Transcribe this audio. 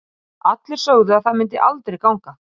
Allir sögðu að það myndi aldrei ganga.